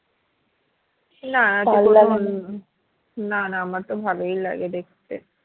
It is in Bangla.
না না না আমারতো ভালোই লাগে দেখতে